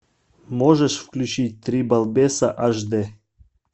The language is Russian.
можешь включить три балбеса аш д